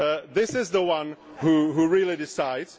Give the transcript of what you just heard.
This is the one which really decides.